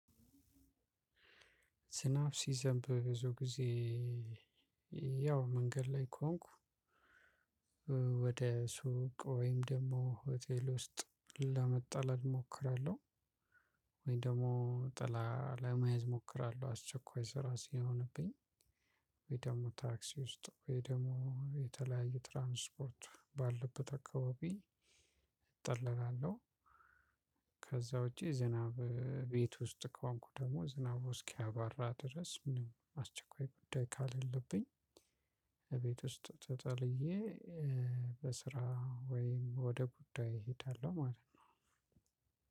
ዝናብ ሲዘንብ ብዙ ጊዜ ያው መንገድ ላይ ከሆንኩ ወደ ሱቅ ወይም ደግሞ ሆቴል ውስጥ ለመጠለል እሞክራለሁ። ወይ ደግሞ ጥላ ለመያዝ እሞክራለሁ። አስቸኳይ ስራ ሲሆንብኝ ደግሞ ታክሲ ውስጥ ወይ ደግሞ የተለያየ ትራንስፖርት ባለበት አካባቢ እጠለላለሁ። ከዛ ውጪ ዝናብ ቤት ውስጥ ከሆንኩ ደግሞ ዝናብ እስኪያባራ ድረስ አስቸኳይ ጉዳይ ከሌለብኝ እቤት ውስጥ ተጠልዬ በስራ ወይም ወደ ጉዳይ እሄዳለሁ ማለት ነው።